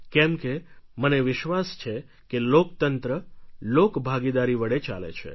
કેમ કે મને વિશ્વાસ છે કે લોકતંત્ર લોકભાગીદારી વડે ચાલે છે